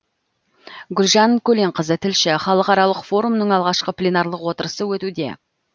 гүлжан көленқызы тілші халықаралық форумның алғашқы пленарлық отырысы өтуде